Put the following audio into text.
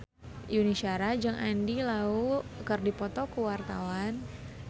Yuni Shara jeung Andy Lau keur dipoto ku wartawan